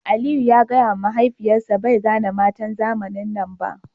Aliyu ya gaya ma mahaifiyarsa bai gane matan zamanin nan ba